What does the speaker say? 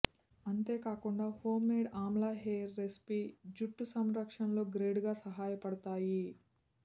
అంతే కాకుండా home made amla hair రిసిపిలు జుట్టు సంరక్షణలో గ్రేట్ గా సహాయపడుతాయి